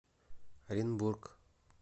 оренбург